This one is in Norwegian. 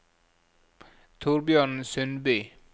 Thorbjørn Sundby